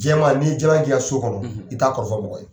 Jɛman ni ye n'i ye k'i ka so kɔnɔ i t'a kɔrɔfɔ mɔgɔ ye.